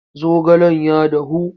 zaogalen ya dahu.